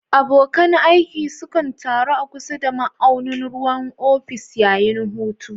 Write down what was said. Abokan aiki sukan taru a kusa da ma'aunin ruwan ofis yayin hutu